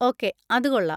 Okay, അത് കൊള്ളാം.